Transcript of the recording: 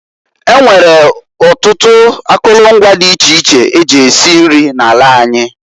E nwere ọtụtụ akụlụ ngwa nri dị iche iche e ji esi nri n'ala anyị.